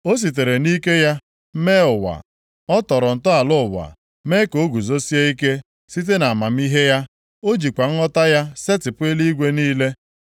“O sitere nʼike ya mee ụwa; ọ tọrọ ntọala ụwa mee ka o guzosie ike site nʼamamihe ya, ọ jikwa nghọta ya setịpụ eluigwe niile.